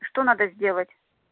что надо сделать